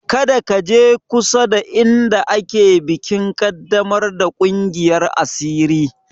Kada ka je kusada inda ake bikin ƙaddamar da ƙungiyar asiri!